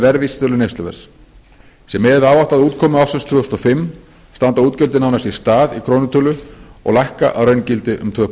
verðvísitölu neysluverðs sé miðað við áætlaða útkomu ársins tvö þúsund og fimm standa útgjöldin nánast í stað í krónutölu og lækka að raungildi um tvö